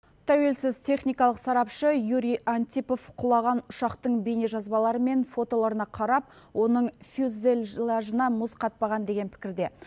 тәуелсіз техникалық сарапшы юрий антипов құлаған ұшақтың бейнежазбалары мен фотоларына қарап оның фюзеллажына мұз қатпаған деген пікірде